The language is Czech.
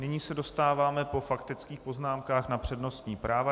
Nyní se dostáváme po faktických poznámkách na přednostní práva.